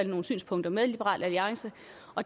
nogle synspunkter med liberal alliance